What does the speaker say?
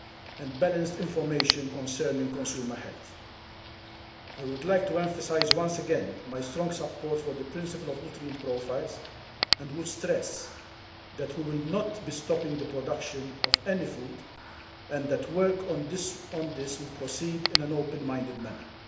and balanced information concerning consumer health. I would like to emphasise once again my strong support for the principle of nutrient profiles, and would stress that we will not be stopping the production of any food and that work on this will proceed in an open minded manner.